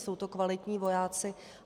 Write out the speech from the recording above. Jsou to kvalitní vojáci.